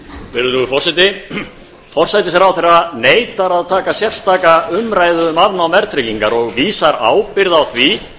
virðulegur forseti forsætisráðherra neitar að taka sérstaka umræðu um afnám verðtryggingar og vísar ábyrgð á því